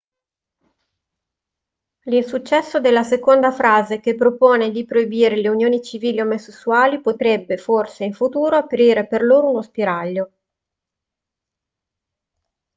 l'insuccesso della seconda frase che propone di proibire le unioni civili omosessuali potrebbe forse in futuro aprire per loro uno spiraglio